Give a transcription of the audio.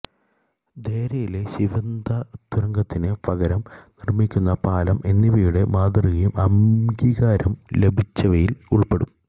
ദേരയിലെ Shindagha തുരങ്കത്തിന് പകരം നിര്മിക്കുന്ന പാലം എന്നിവയുടെ മാതൃകയും അംഗീകാരം ലഭിച്ചവയില് ഉള്പ്പെടും